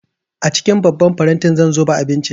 A cikin babban faranti zan zuba abincin